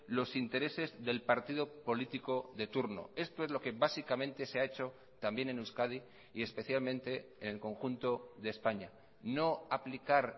los intereses del partido político de turno esto es lo que básicamente se ha hecho también en euskadi y especialmente en el conjunto de españa no aplicar